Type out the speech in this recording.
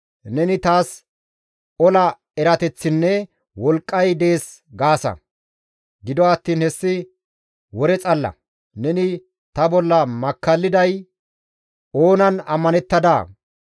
Neni taas ola erateththinne wolqqay dees gaasa; gido attiin hessi wore xalla; neni ta bolla makkalliday oonan ammanettadaa?